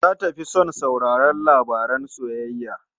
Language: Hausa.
Za ta fi son sauraron labaran soyayya.